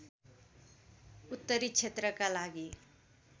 उत्तरी क्षेत्रका लागि